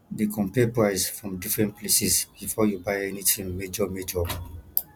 dey compare price from different places before you buy anything major major